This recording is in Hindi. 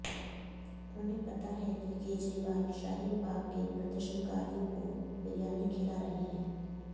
उन्हें पता है कि केजरीवाल शाहीन बाग के प्रदर्शनकारियों को बिरयानी खिला रहे हैं